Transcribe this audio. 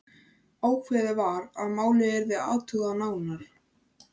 Ákveðið var að málið yrði athugað nánar.